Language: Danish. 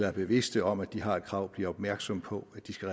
er bevidste om at de har et krav bliver opmærksomme på at de skal